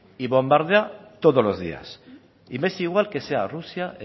y bombardea todos los días y me es igual que sea rusia